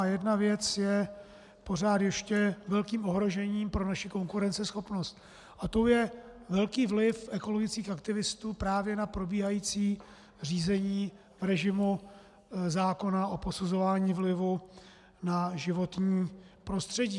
A jedna věc je pořád ještě velkým ohrožením pro naši konkurenceschopnost a tou je velký vliv ekologických aktivistů právě na probíhající řízení režimu zákona o posuzování vlivů na životní prostředí.